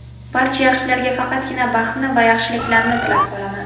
Barcha yaxshilarga faqatgina baxtni va yaxshiliklarni tilab qolaman!